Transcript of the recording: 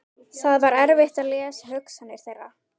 Það var erfitt að lesa hugsanir þeirra.